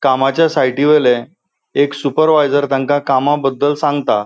कामाच्या साइटी वोईले एक सुपरवायझर तांका कामाबद्दल सांगता.